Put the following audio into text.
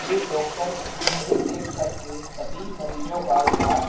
ये डॉक्टर्स एक एक करके सभी मरीजों का इलाज--